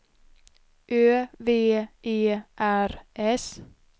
Ö V E R S